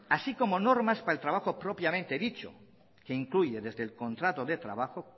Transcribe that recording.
así como normas para el trabajo propiamente dicho que incluye desde el contrato de trabajo